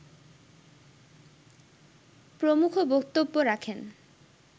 প্রমুখ বক্তব্য রাখেন